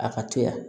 A ka to yan